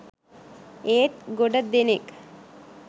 "ඒත් ගොඩදෙනෙක්